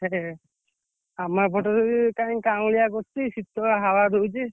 କେତେରେ ଆମ ଏପଟେରେ କାଇଁ କାଉଁଳିଆ କରିଛି ଶୀତଳ ହାୱା ଦଉଛି।